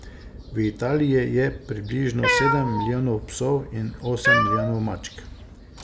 V Italiji je približno sedem milijonov psov in osem milijonov mačk.